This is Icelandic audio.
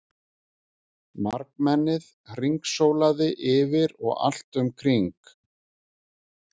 Margmennið hringsólandi yfir og allt um kring.